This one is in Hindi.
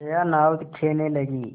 जया नाव खेने लगी